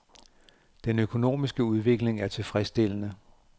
Den økonomiske udvikling er tilfredsstillende.